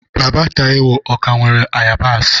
Baba Taiwo, o ka nwere ayabasị?